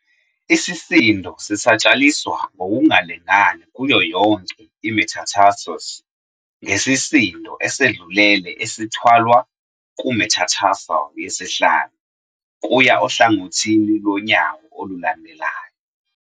Isisindo sisatshalaliswa ngokungalingani kuyo yonke i-metatarsus, ngesisindo esedlulele esithwalwa ku-metatarsal yesihlanu, kuya ohlangothini lwonyawo olulandelayo.